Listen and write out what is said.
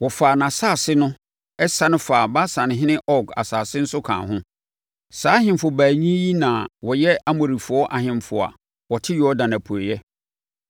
Wɔfaa nʼasase no sane faa Basanhene Og asase nso kaa ho. Saa ahemfo baanu yi na wɔyɛ Amorifoɔ ahemfo a wɔte Yordan apueeɛ.